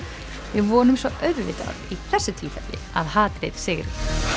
við vonum svo auðvitað í þessu tilfelli að hatrið sigri